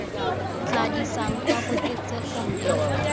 tla isang kwa koketsegong e